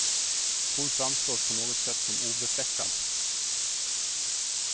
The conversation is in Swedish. Hon framstår på något sätt som obefläckad.